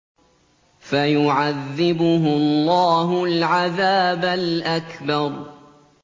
فَيُعَذِّبُهُ اللَّهُ الْعَذَابَ الْأَكْبَرَ